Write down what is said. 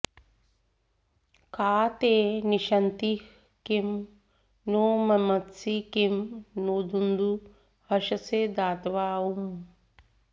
का ते॒ निष॑त्तिः॒ किमु॒ नो म॑मत्सि॒ किं नोदु॑दु हर्षसे॒ दात॒वा उ॑